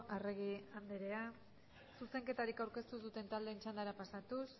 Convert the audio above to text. arregi anderea zuzenketarik aurkeztu duten taldeen txandara pasatuz